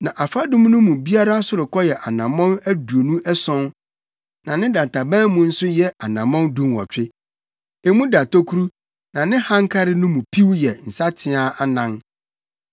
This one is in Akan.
Na afadum no biara sorokɔ yɛ anammɔn aduonu ason na ne dantaban mu nso yɛ anammɔn dunwɔtwe. Emu da tokuru na ne hankare no mu piw yɛ nsateaa anan.